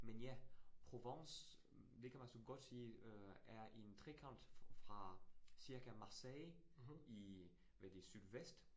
Men ja. Provence det kan man så godt sige øh er en trekant fra cirka Marseille i hvad det sydvest